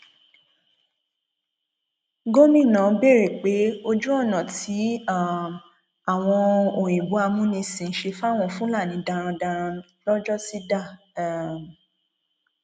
gomina béèrè pé ojú ọnà tí um àwọn òyìnbó amúnisìn ṣe fáwọn fúlàní darandaran lọjọsí dà um